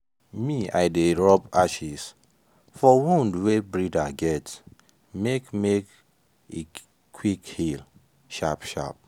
me i dey rub ashes for wound wey breeder get make make e quick heal sharp-sharp.